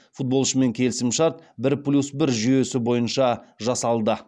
футболшымен келісімшарт бір плюс бір жүйесі бойынша жасалды